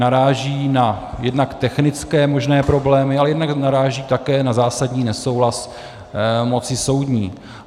Naráží na jednak technické možné problémy, ale jednak naráží také na zásadní nesouhlas moci soudní.